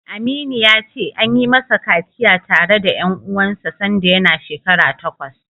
Aminu ya ce, an yi masa kaciya tare da ƴan uwansa sanda yana shekara takwas.